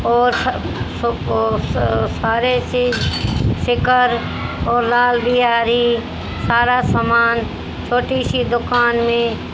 और सारे सी शिखर और लाल बिहारी सारा सामान छोटी सी दुकान में--